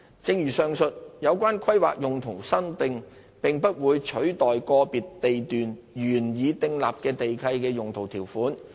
正如上述，有關規劃用途修訂並不會取代個別地段原已訂立的地契的用途條款。